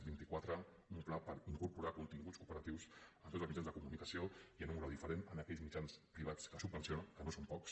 vint i quatre un pla per incorporar continguts cooperatius en tots els mitjans de comunicació i en un grau diferent en aquells mitjans privats que subvenciona que no són pocs